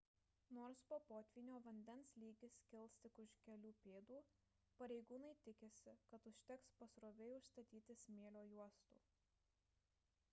nors po potvynio vandens lygis kils tik už kelių pėdų pareigūnai tikisi kad užteks pasroviui atstatytų smėlio juostų